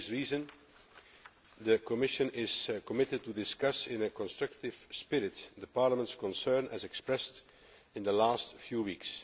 For this reason, the Commission is committed to discussing in a constructive spirit Parliament's concern as expressed over the last few weeks.